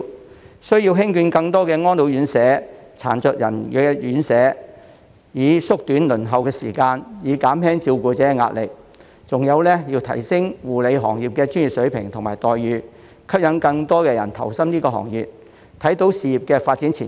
政府需要興建更多安老院舍、殘疾人士院舍，以縮短輪候時間，減輕照顧者的壓力；還有要提升護理行業的專業水平及待遇，吸引更多人投身這個行業，看到事業的發展前景。